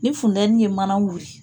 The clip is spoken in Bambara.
Ni fundɛni ye mana wili